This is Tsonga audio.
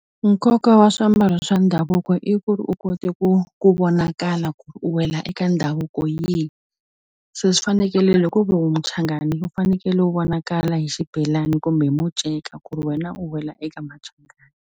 Nkoka wa swiambalo swa ndhavuko i ku ri u kote ku ku vonakala ku ri u wela eka ndhavuko yihi se swi fanekele u muchangani u fanekele u vonakala hi xibelani kumbe hi munceka ku ri wena u wela eka machangani.